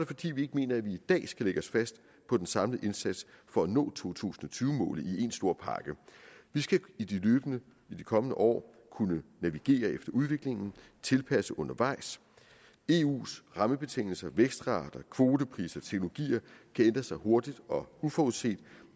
fordi vi ikke mener at vi i dag skal lægge os fast på den samlede indsats for at nå to tusind og tyve målet i en stor pakke vi skal løbende i de kommende år kunne navigere efter udviklingen og tilpasse undervejs eus rammebetingelser vækstrater kvotepriser og teknologier kan ændre sig hurtigt og uforudset